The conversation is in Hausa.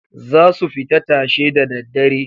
Zasu fita tashe da daddare.